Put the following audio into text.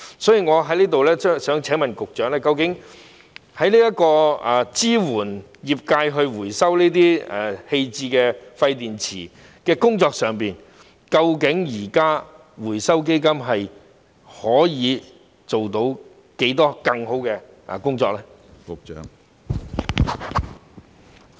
所以，我想在此請問局長，在支援業界回收棄置廢電池的工作上，究竟現時回收基金可以做到多少更好的工作？